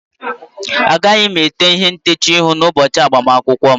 Agaghị m ete ihe ntecha ihu n'ụbọchị agbamakwụkwọ m